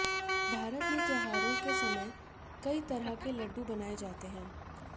भारत में त्योहारों के समय कई तरह के लड्डू बनाएं जाते हैं